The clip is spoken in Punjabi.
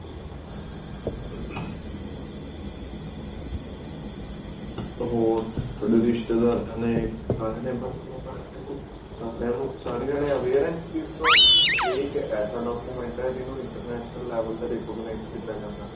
ਹੋਰ ਥੋਡੇ ਰਿਸ਼ਤੇਦਾਰਾਂ ਨੇ ਸਾਰਿਆਂ ਨੇ ਬਣਵਾ ਲਿਆ passport ਸਾਰੇ ਜਾਣੇ aware ਨੇ ਇਸ ਚੀਜ਼ ਤੋਂ ਕੀ ਇਹ ਇੱਕ ਅਜਿਹਾ document ਹੈ ਜਿਸ ਨੂੰ international level ਤੇ recognize ਕੀਤਾ ਜਾਂਦਾ